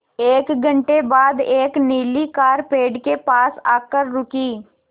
एक घण्टे बाद एक नीली कार पेड़ के पास आकर रुकी